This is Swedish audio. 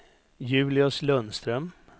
Julius Lundström